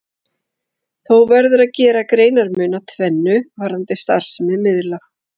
Þó verður að gera greinarmun á tvennu varðandi starfsemi miðla.